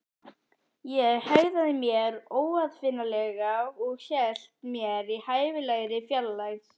Ég hegðaði mér óaðfinnanlega- og hélt mér í hæfilegri fjarlægð.